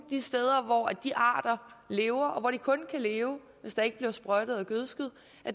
de steder hvor de arter lever og hvor de kun kan leve hvis der ikke bliver sprøjtet og gødsket